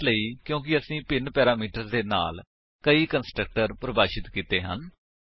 ਇਹ ਇਸ ਲਈ ਕਿਉਂਕਿ ਅਸੀਂ ਭਿੰਨ ਪੈਰਾਮੀਟਰਸ ਦੇ ਨਾਲ ਕਈ ਕੰਸਟਰਕਟਰ ਪਰਿਭਾਸ਼ਿਤ ਕੀਤੇ ਹਨ